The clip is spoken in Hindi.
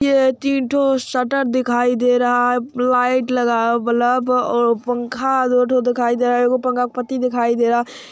ये तीन ठोर शटर दिखाई दे रहा है लाइट लगा है और बल्ब और पंखा दो ठोर दिखाई दे रहा है पंखा का पट्टी दिखाई दे रहा है ।